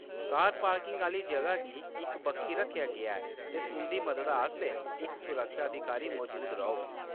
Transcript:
कार parking आह्‌ली जगह गी इक बक्खी रक्खेआ गेआ ऐ, ते तुंʼदी मददा आस्तै इक सुरक्षा अधिकारी मजूद रौह्‌‌‌ग।